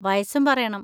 വയസ്സും പറയണം.